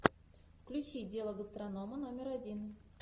включи дело гастронома номер один